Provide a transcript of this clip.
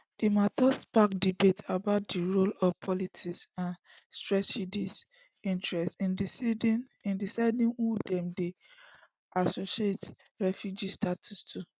di mata spark debate about di role of politics and strategic interests in deciding who dem dey allocate refugee status to